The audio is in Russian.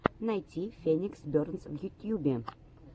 найти феникс бернс в ютьюбе